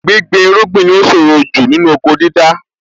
Gbíngbin irúgbìn ni ó ṣòro jù nínú oko dídá.